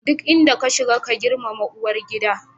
Duk inda ka shiga, ka girmama uwar gida.